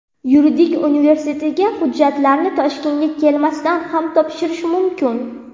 Yuridik universitetga hujjatlarni Toshkentga kelmasdan ham topshirish mumkin.